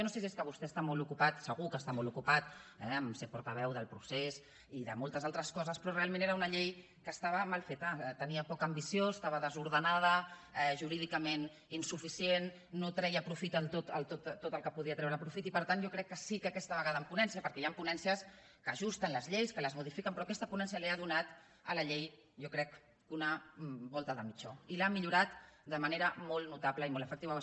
jo no sé si és que vostè està molt ocupat segur que està molt ocupat a ser portaveu del procés i de moltes altres coses però realment era una llei que estava mal feta tenia poca ambició estava desordenada jurídicament insuficient no treia profit de tot el que podia treure profit i per tant jo crec que sí que aquesta vegada en ponència perquè hi han ponències que ajusten les lleis que les modifiquen però aquesta ponència ha donat a la llei jo crec una volta de mitjó i l’ha millorat de manera molt notable i molt efectiva